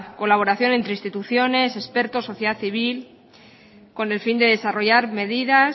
colaboración entre instituciones expertos sociedad civil con el fin de desarrollar mediadas